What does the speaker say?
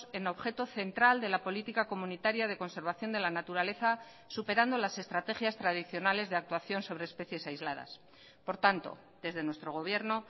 en objeto central de la política comunitaria de conservación de la naturaleza superando las estrategias tradicionales de actuación sobre especies aisladas por tanto desde nuestro gobierno